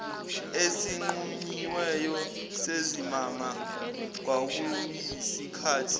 esinqunyiweyo sezimanga kwakuyisikhathi